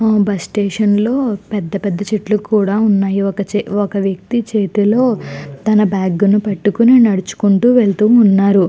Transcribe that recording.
Bus స్టేషన్లో పెద్ద పెద్ద చెట్లు కూడా ఉన్నాయి ఒక వ్యక్తి చేతిలో తన బ్యాగ్ ని పట్టుకుని నడుచుకుంటూ వెళుతూ ఉన్నారు.